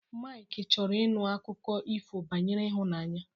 Maịk chọrọ ịṅụ akụkọ ifo banyere ịhụnanya